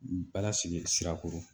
Bala sigi Sirakoro